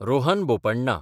Rohan Bopanna